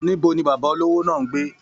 Níbo ní bàbá olówó náà n gbé?